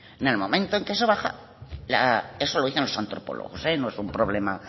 en el momento que eso baja eso lo dicen los antropólogos no es un problema